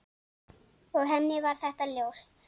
Og henni var þetta ljóst.